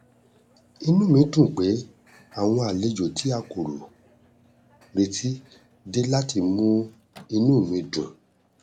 inú mi dùn pé àwọn àlejò tí a kò retí dé láti mú inú mi dùn